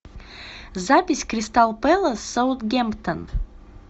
запись кристал пэлас с саутгемптон